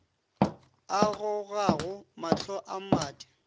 a gogago mahlo a mmadi